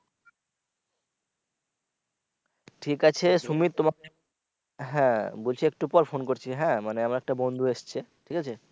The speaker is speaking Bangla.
ঠিক আছে সুমিত তোমাকে হ্যা বলছি একটু পর ফোন করছি হ্যা মানে আমার একটা বন্ধু এসছে ঠিক আছে।